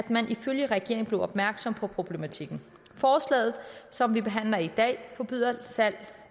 man ifølge regeringen blev opmærksom på problematikken forslaget som vi behandler i dag forbyder salg